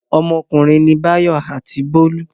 Ọmọkùnrin ni Báyọ̀ àti Bólú.